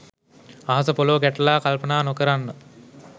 අහස පොලව ගැටලා කල්පනා නොකරන්න